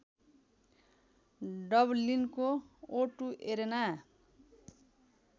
डबलिनको O two arena